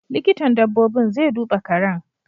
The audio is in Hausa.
Likitan dabbobin zai duba karen.